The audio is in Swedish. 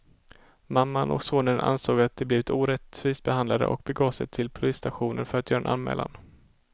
Mamman och sonen ansåg att de blivit orättvist behandlade och begav de sig till polisstationen för att göra en anmälan.